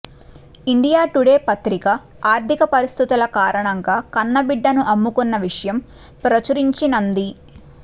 India Today పత్రిక ఆర్థిక పరిస్థితుల కారణంగా కన్నబిడ్డను అమ్ముకున్న విషయం ప్రచురించినంది